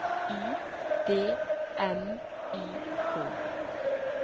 Y D M Y K